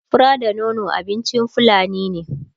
fura da nono abincin fulani ne